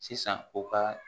Sisan u ka